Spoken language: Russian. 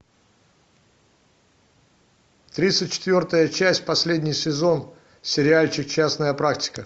тридцать четвертая часть последний сезон сериальчик частная практика